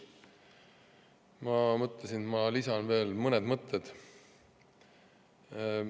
Ma mõtlesin, et lisan veel mõned mõtted.